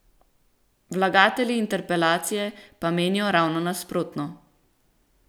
Vlagatelji interpelacije pa menijo ravno nasprotno.